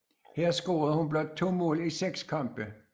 Her scorede hun blot to mål i seks kampe